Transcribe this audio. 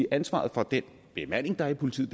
ansvaret for den bemanding der er i politiet